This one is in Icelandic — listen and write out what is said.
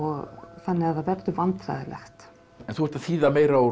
þannig að það verður vandræðalegt en þú ert að þýða meira úr